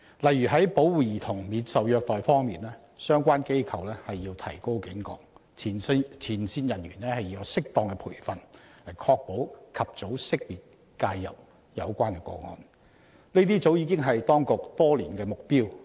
例如，在保護兒童免受虐待方面，相關機構必須提高警覺，前線人員要有適當培訓，以確保"及早識別及介入"有關個案，這些早已是當局多年的目標。